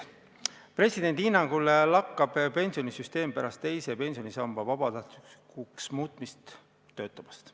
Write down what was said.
Presidendi hinnangul lakkab pensionisüsteem pärast teise samba vabatahtlikuks muutmist töötamast.